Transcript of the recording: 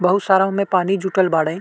बहुत सारा ओमे पानी जुटल बाड़े।